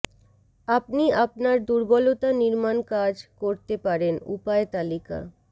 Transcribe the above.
আপনি আপনার দুর্বলতা নির্মাণ কাজ করতে পারেন উপায় তালিকা